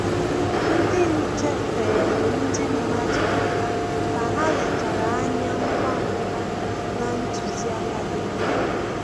Ndị nche feere ndị mmadụ aka ka ha lechara anya ngwa ngwa na ntụziaka dị mma